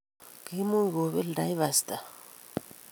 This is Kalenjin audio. Kiimuch kobel Taifa Stars.